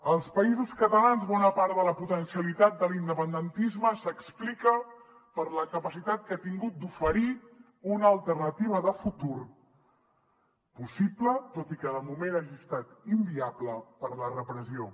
als països catalans bona part de la potencialitat de l’independentisme s’explica per la capacitat que ha tingut d’oferir una alternativa de futur possible tot i que de moment hagi estat inviable per la repressió